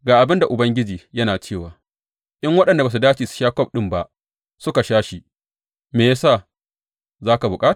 Ga abin da Ubangiji yana cewa, In waɗanda ba su dace su sha kwaf ɗin ba suka sha shi, me ya sa za ka kuɓuta?